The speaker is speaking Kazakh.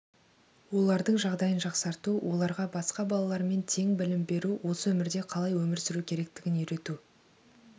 олардың жағдайын жақсарту оларға басқа балалармен тең білім беру осы өмірде қалай өмір сүру керектігін үйрету